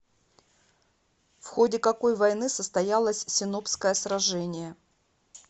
в ходе какой войны состоялось синопское сражение